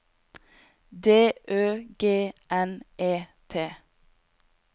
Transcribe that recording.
D Ø G N E T